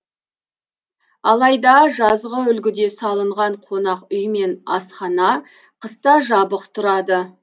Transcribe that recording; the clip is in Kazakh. алайда жазғы үлгіде салынған қонақ үй мен асхана қыста жабық тұрады